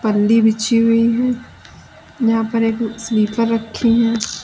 पन्नी बछी हुई है यहां पर एक स्लीपर रखे हुए हैं।